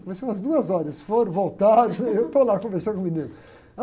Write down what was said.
Comecei umas duas horas, eles foram, voltaram, e eu estou lá, conversando com a menina